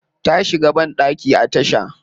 Ta shiga bandaki a tasha.